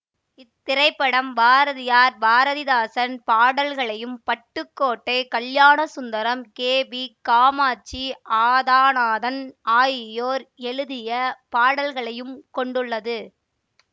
இத்திரைப்படம் பாரதியார் பாரதிதாசன் பாடல்களையும் Pattukkottai Kalyanasundaram K P Kamatchi Athanathan ஆகியோர் எழுதிய பாடல்களையும் கொண்டுள்ளது